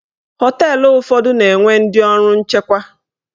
Họteelụ ụfọdụ na-enwe ndị ọrụ nchekwa.